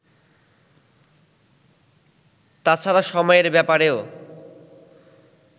তাছাড়া সময়ের ব্যাপারেও